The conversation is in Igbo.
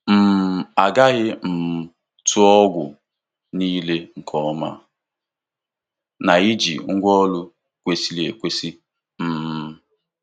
um A ghaghị um tụọ ọgwụ niile nke ọma na iji ngwaọrụ kwesịrị ekwesị. um